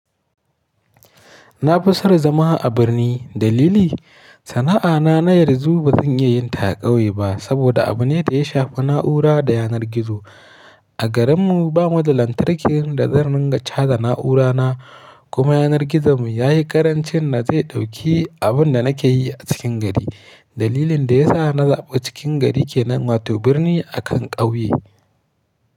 Na fi son zama a birni. Dalili? Sana'a na na yarzu ba zan iya yin ta a ƙauye ba saboda abu ne da ya shafi na'ura da yanar gizo. A garinmu bamu da lantarki da zan dinga cajan na'urana kuma yanar gizonmu ya yi karancin da zai ɗauki abin da nake yi a cikin gari. Dalilin da ya sa na zaɓi cikin gari ke nan wato birni a kan ƙauye.